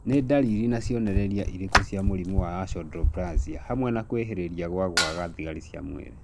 Nĩ ndariri na cionereria irĩkũ cia mũrimũ wa Achondroplasia hamwe na kwĩhĩrĩria gwa kwaga thigari cia mwĩrĩ